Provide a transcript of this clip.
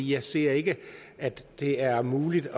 jeg ser ikke at det er muligt